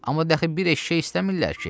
Amma dəxi bir eşşək istəmirlər ki?